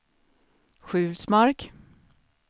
Sjulsmark